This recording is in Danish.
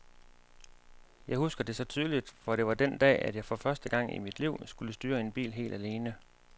Jeg husker det så tydeligt, for det var den dag, at jeg for første gang i mit liv skulle styre en bil helt alene.